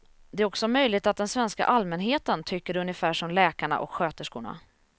Det är också möjligt att den svenska allmänheten tycker ungefär som läkarna och sköterskorna.